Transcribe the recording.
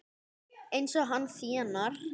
Eins og hann þénar!